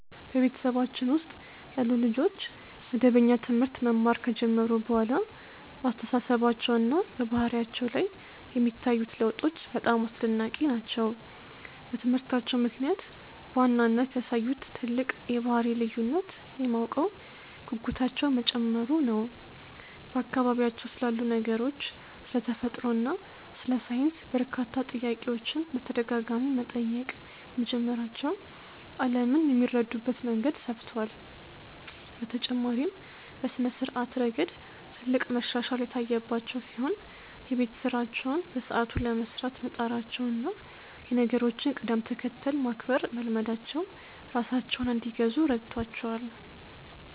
በቤተሰባችን ውስጥ ያሉ ልጆች መደበኛ ትምህርት መማር ከጀመሩ በኋላ በአስተሳሰባቸውና በባህሪያቸው ላይ የሚታዩት ለውጦች በጣም አስደናቂ ናቸው። በትምህርታቸው ምክንያት በዋናነት ያሳዩት ትልቅ የባህሪ ልዩነት የማወቅ ጉጉታቸው መጨመሩ ነው፤ በአካባቢያቸው ስላሉ ነገሮች፣ ስለ ተፈጥሮ እና ስለ ሳይንስ በርካታ ጥያቄዎችን በተደጋጋሚ መጠየቅ በመጀመራቸው ዓለምን የሚረዱበት መንገድ ሰፍቷል። በተጨማሪም በስነ-ስርዓት ረገድ ትልቅ መሻሻል የታየባቸው ሲሆን፣ የቤት ስራቸውን በሰዓቱ ለመስራት መጣራቸውና የነገሮችን ቅደም-ተከተል ማክበር መልመዳቸው ራሳቸውን እንዲገዙ ረድቷቸዋል።